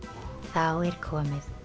þá er komið